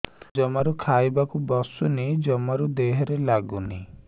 ଜମାରୁ ଖାଇବାକୁ ବସୁନି ଜମାରୁ ଦେହରେ ଲାଗୁନି